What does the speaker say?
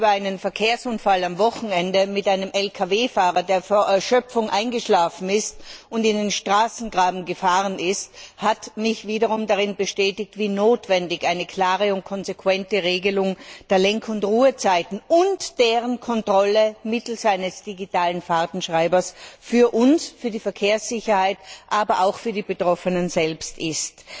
Ein Bericht über einen Verkehrsunfall am Wochenende mit einem Lkw Fahrer, der vor Erschöpfung eingeschlafen und in den Straßengraben gefahren ist, hat mich wieder darin bestätigt, wie notwendig eine klare und konsequente Regelung der Lenk und Ruhezeiten und deren Kontrolle mittels eines digitalen Fahrtenschreibers für uns, für die Verkehrssicherheit, aber auch für die Betroffenen selbst ist.